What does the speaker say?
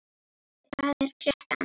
Búi, hvað er klukkan?